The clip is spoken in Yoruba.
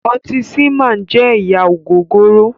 Ọtí "seaman" jẹ́ ẹ̀yà ògògóró